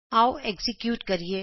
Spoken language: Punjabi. ਆਉ ਐਕਜ਼ੀਕਿਯੂਟ ਕਰੀਏ